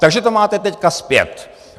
Takže to máte teď zpět.